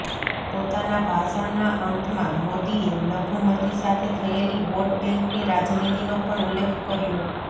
પોતાના ભાષણના અંતમાં મોદીએ લઘુમતિ સાથે થયેલી વોટબેંકની રાજનીતિનો પણ ઉલ્લેખ કર્યો